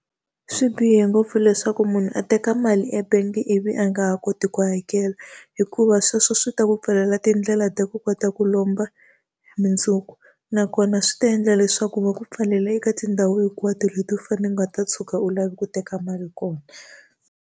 Swi bihe ngopfu leswaku munhu a teka mali e-bank ivi a nga ha koti ku hakela, hikuva sweswo swi ta ku pfalela tindlela ta ku kota ku lomba mundzuku. Nakona swi ta endla leswaku va ku pfalela eka tindhawu hinkwato leti u u nga ta tshuka u lave ku teka mali kona.